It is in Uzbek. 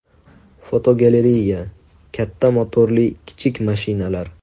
Fotogalereya: Katta motorli kichik mashinalar.